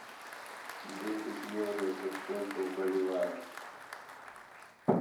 десять евро это сколько в боливарах